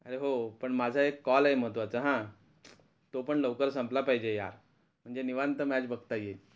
अरे हो पण माझा एक कॉल आहे महत्वाचा हा, तो पण लवकर संपला पाहिजे यार म्हणजे निवांत मॅच बघता येईल